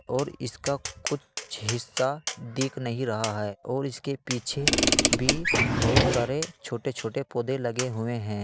और इसका कुछ हिस्सा दिख नहीं रहा है और इसके पीछे भी बहुत सारे छोटे छोटे पौधे लगे हुए हैं।